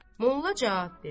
Molla cavab verdi.